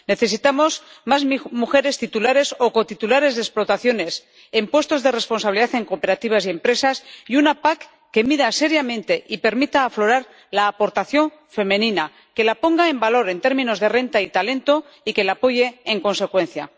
Necesitamos más mujeres titulares o cotitulares de explotaciones, en puestos de responsabilidad en cooperativas y empresas, y una PAC que mida seriamente y permita aflorar la aportación femenina, que la ponga en valor en términos de renta y talento, y que la apoye en consecuencia.